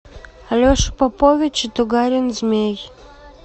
алеша попович и тугарин змей